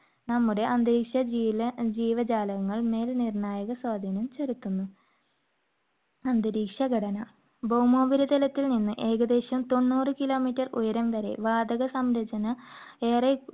നമ്മുടെ അന്തരീക്ഷ ജീല~ ജീവജാലങ്ങളുടെ മേൽ നിർണായക സ്വാധീനം ചെലുത്തുന്നു. അന്തരീക്ഷ ഘടന ഭൗമോപരിതലത്തിൽ നിന്ന് ഏകദേശം തൊണ്ണൂറ് kilometer ഉയരം വരെ വാതക സംരചന ഏറെ